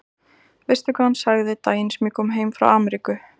Veistu hvað hann sagði daginn sem ég kom heim frá Ameríku?